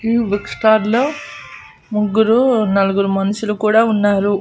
ఈ బుక్స్టాల్లో ముగ్గురు నలుగురు మనుషులు కూడా ఉన్నారు.